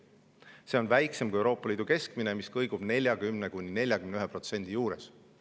See on väiksem kui Euroopa Liidu keskmine, mis kõigub 40–41% juures.